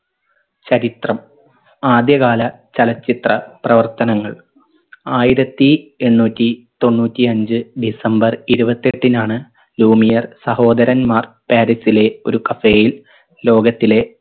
ചരിത്രം ആദ്യ കാല ചലച്ചിത്ര പ്രവർത്തനങ്ങൾ ആയിരത്തി എണ്ണൂറ്റി തൊണ്ണൂറ്റി അഞ്ചു ഡിസംബർ ഇരുപത്തെട്ടിനാണ് ലൂമിയർ സഹോദരന്മാർ പാരീസിലെ ഒരു cafe യിൽ ലോകത്തിലെ